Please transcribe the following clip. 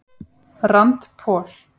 Rand Paul